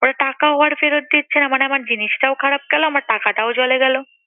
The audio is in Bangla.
ওরা টাকাও আর ফেরত দিচ্ছে না মানে আমার জিনিসটাও খারাপ গেলো, আমার টাকাটাও জলে গেলো।